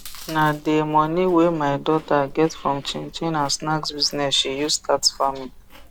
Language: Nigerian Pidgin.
na de moni wey my daughter get from chin chin and snacks business she use start farming